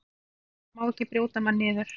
Þetta má ekki brjóta mann niður.